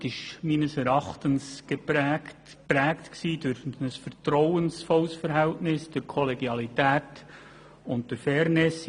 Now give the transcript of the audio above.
Die Arbeit war meines Erachtens durch ein vertrauensvolles Verhältnis, durch Kollegialität und Fairness geprägt.